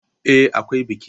Eh, akwai biki.